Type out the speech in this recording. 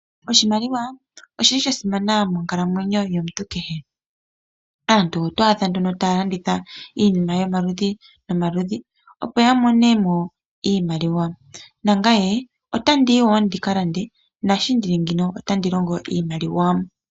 Oshimaliwa oshili sha simana monkalamwenyo yomuntu kehe. Aantu oto adha nduno taya landitha iinima yomaludhi nomaludhi opo yamonemo iimaliwa, nangame otandiyi woo ndikalande, naasho ndili ngeyi, otandi longo iimaliwa.